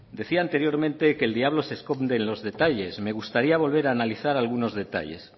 decía anteriormente que el diablo se esconde en los detalles me gustaría volver a analizar algunos detalles